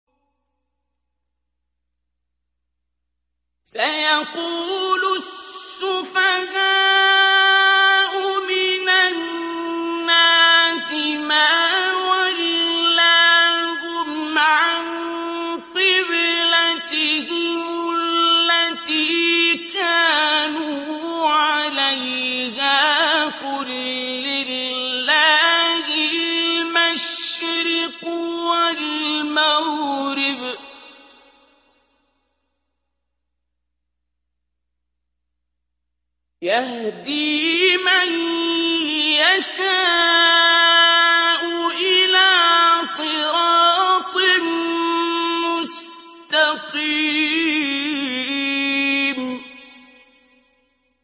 ۞ سَيَقُولُ السُّفَهَاءُ مِنَ النَّاسِ مَا وَلَّاهُمْ عَن قِبْلَتِهِمُ الَّتِي كَانُوا عَلَيْهَا ۚ قُل لِّلَّهِ الْمَشْرِقُ وَالْمَغْرِبُ ۚ يَهْدِي مَن يَشَاءُ إِلَىٰ صِرَاطٍ مُّسْتَقِيمٍ